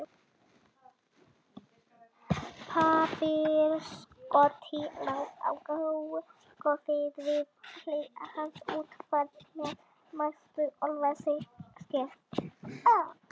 Pappírsörkin lá á gólfinu við hlið hans útkrotuð með næstum ólæsilegri skrift.